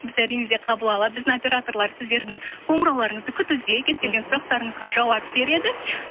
біз әрине де қабыл алады біздің операторлар сіздердің қоңырауларыңызды күтуде кез келген сұрақтарыңызға жауап береді